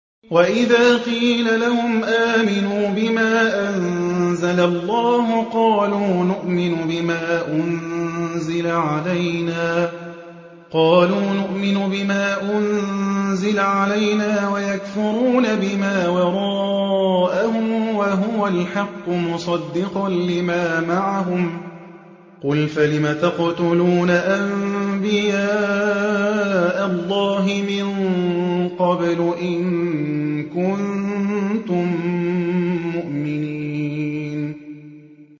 وَإِذَا قِيلَ لَهُمْ آمِنُوا بِمَا أَنزَلَ اللَّهُ قَالُوا نُؤْمِنُ بِمَا أُنزِلَ عَلَيْنَا وَيَكْفُرُونَ بِمَا وَرَاءَهُ وَهُوَ الْحَقُّ مُصَدِّقًا لِّمَا مَعَهُمْ ۗ قُلْ فَلِمَ تَقْتُلُونَ أَنبِيَاءَ اللَّهِ مِن قَبْلُ إِن كُنتُم مُّؤْمِنِينَ